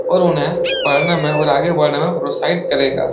और उन्हें पढने में और आगे बढ़ने में प्रोत्साहित करेगा।